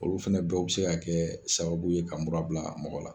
Olu fɛnɛ bɛɛ bi se ka kɛ sababu ye ka mura bila mɔgɔ la.